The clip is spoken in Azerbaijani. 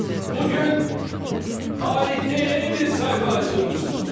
Bu gün tarixdə yeni bir səhifə açılmışdır.